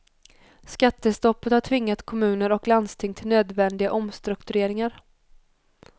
Skattestoppet har tvingat kommuner och landsting till nödvändiga omstruktureringar.